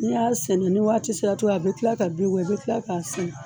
Ni y'a seni ni waati sera tu a bi kila ka bin bɔ i bi kila k'a sɛnɛ